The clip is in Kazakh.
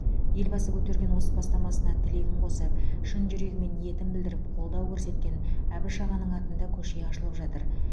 елбасы көтерген осы бастамасына тілегін қосып шын жүрегімен ниетін білдіріп қолдау көрсеткен әбіш ағаның атында көше ашылып жатыр